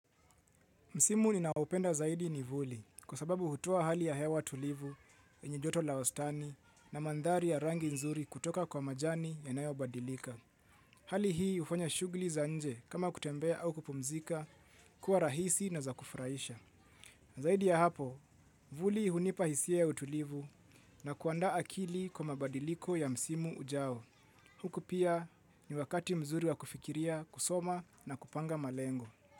Msimu ninaoupenda zaidi ni vuli kwa sababu hutoa hali ya hewa tulivu, yenye joto la wastani na mandhari ya rangi nzuri kutoka kwa majani yanayo badilika. Hali hii hufanya shughuli za nje kama kutembea au kupumzika kuwa rahisi na za kufurahisha. Zaidi ya hapo, vuli hunipa hisia ya utulivu na kuandaa akili kwa mabadiliko ya msimu ujao. Huku pia ni wakati mzuri wa kufikiria kusoma na kupanga malengo.